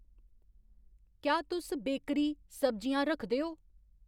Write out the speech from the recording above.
क्या तुस बेकरी, सब्जियां रखदे ओ ?